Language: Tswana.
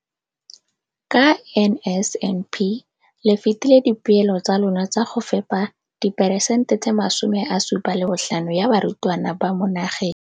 Ka NSNP le fetile dipeelo tsa lona tsa go fepa diperesente tse 75 ya barutwana ba mo nageng.